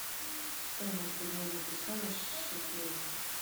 стоимость обмена песо на шекели